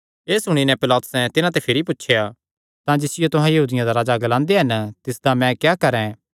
एह़ सुणी नैं पिलातुसैं तिन्हां ते भिरी पुछया तां जिसियो तुहां यहूदियां दा राजा ग्लांदे हन तिसदा मैं क्या करैं